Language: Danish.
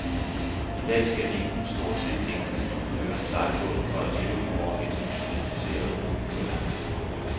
I dag skal ingen, stort set ingen, kunne føre en sejlbåd for at leve i vort industrialiserede brobyggerland.